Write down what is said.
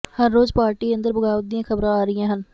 ਹਰ ਰੋਜ਼ ਪਾਰਟੀ ਅੰਦਰ ਬਗਾਵਤ ਦੀਆਂ ਖਬਰਾਂ ਆ ਰਹੀਆਂ ਹਨ